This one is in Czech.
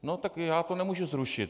No tak já to nemůžu zrušit.